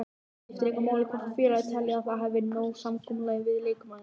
Þá skiptir engu máli hvort félagið telji að það hafi náð samkomulagi við leikmanninn.